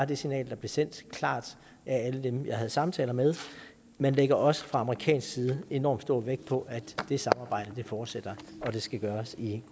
det signal der blev sendt klart af alle dem jeg havde samtaler med man lægger også fra amerikansk side enorm stor vægt på at det samarbejde fortsætter og det skal gøres i